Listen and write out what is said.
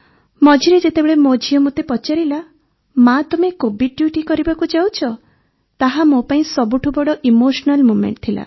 ମଝିରେ ଯେତେବେଳେ ମୋ ଝିଅ ମୋତେ ପଚାରିଲା ମା ତମେ କୋଭିଡ୍ ଡ୍ୟୁଟି କରିବାକୁ ଯାଉଛ ତାହା ମୋ ପାଇଁ ସବୁଠୁ ବଡ଼ ଇମୋସନାଲ ମୋମେଂଟ ଥିଲା